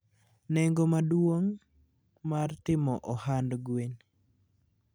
Nengo maduong' mar timo ohand gwen.